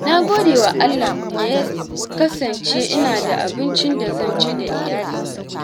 Na gode wa Allah da ya kasance ina da abincin da zan ci da iyalina.